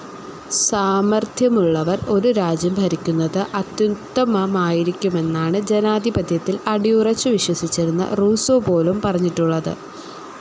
സാമർഥ്യമുള്ളവർ ഒരു രാജ്യം ഭരിക്കുന്നത് അത്യുത്തമമായിരിക്കുമെന്നാണ് ജനാധിപത്യത്തിൽ അടിയുറച്ചു വിശ്വസിച്ചിരുന്ന റൂസോ പോലും പറഞ്ഞിട്ടുള്ളത്.